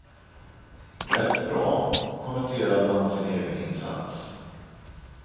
Rätt bra, kommenterade han sin egen insats.